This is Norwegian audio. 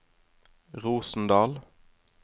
Rosendal